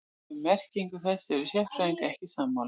Um merkingu þess eru sérfræðingar ekki sammála.